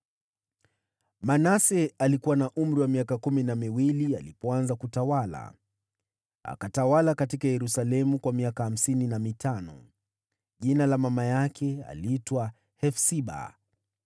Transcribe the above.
Manase alikuwa na umri wa miaka kumi na miwili alipoanza kutawala, naye akatawala huko Yerusalemu miaka hamsini na mitano. Mama yake aliitwa Hefsiba.